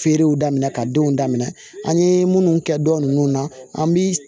Feerew daminɛ ka denw daminɛ an ye munnu kɛ dɔn nunnu na an bi